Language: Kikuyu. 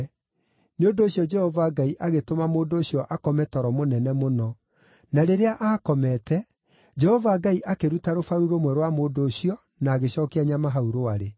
Nĩ ũndũ ũcio Jehova Ngai agĩtũma mũndũ ũcio akome toro mũnene mũno; na rĩrĩa aakomete, Jehova Ngai akĩruta rũbaru rũmwe rwa mũndũ ũcio na agĩcookia nyama hau rwarĩ.